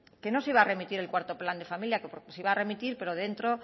que no se iba a remitir el cuarto plan de familia porque se iba a remitir pero dentro